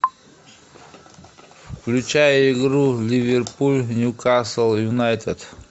включай игру ливерпуль ньюкасл юнайтед